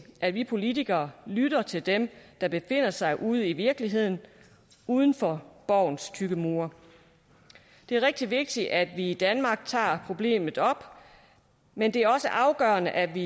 at vi politikere lytter til dem der befinder sig ude i virkeligheden uden for borgens tykke mure det er rigtig vigtigt at vi i danmark tager problemet op men det er også afgørende at vi